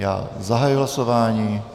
Já zahajuji hlasování.